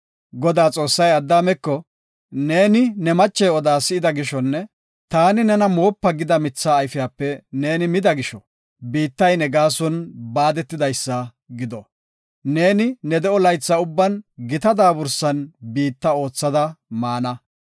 Godaa Xoossay Addaameko, “Neeni ne mache oda si7ida gishonne taani nena moopa gida mitha ayfiyape neeni mida gisho, biittay ne gaason baadetidaysa gido. Neeni ne de7o laytha ubban gita daabursan biitta oothada maana.